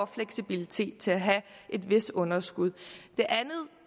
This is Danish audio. fleksibilitet til at have et vist underskud det andet